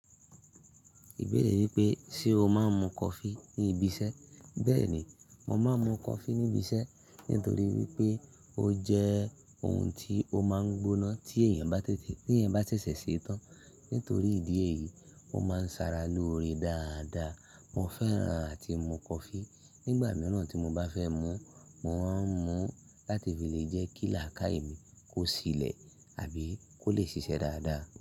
Ìbéèrè wípé, ṣe o máa ń mu coffee níbi iṣẹ́? Bẹ́ẹ̀ni, mo máa ń mu coffee níbi iṣẹ́ nítorí wípé ó jẹ́ ohun tí ó máa ń gbóná tí èèyàn bá ṣẹ̀ṣẹ̀ ṣetán. Nítorí ìdí èyí, mo máa ń sara lóore dáadáa. Mo fẹ́ràn àti mu coffee. Nígbà mìíràn tí mo bá fẹ́ mú, mo máa ń mú láti fi lè jẹ́ kí làákì mi kó ṣílẹ̀ àbí kó lè ṣiṣẹ́ dáadáa.